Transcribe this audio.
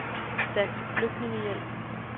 Dansk Flygtningehjælp